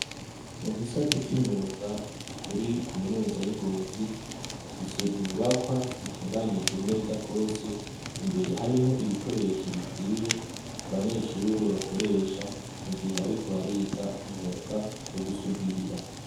Mugisata c'imyuga kuri kaminuza y'ingozi bafise inyubakwa zitunganije neza gose imbere harimwo ibikoresho bikwiye abanyeshure bakoresha mugihe ariko bariga umwuga wo gusudira.